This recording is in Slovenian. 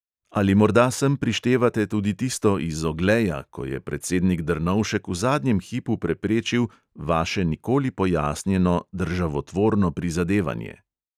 Ali morda sem prištevate tudi tisto iz ogleja, ko je predsednik drnovšek v zadnjem hipu preprečil vaše nikoli pojasnjeno državotvorno prizadevanje?